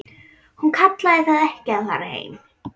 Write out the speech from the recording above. Hún kallaði það ekki að fara heim.